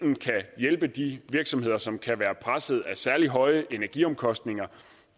hjælpe de virksomheder som kan være presset af særlig høje energiomkostninger